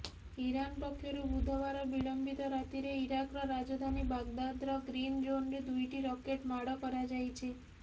Iran ପକ୍ଷରୁ ବୁଧବାର ବିଳମ୍ବିତ ରାତିରେ ଇରାକର ରାଜଧାନୀ ବାଗଦାଦର ଗ୍ରୀନ ଜୋନରେ ଦୁଇଟି ରକେଟ ମାଡ଼ କରାଯାଇଛି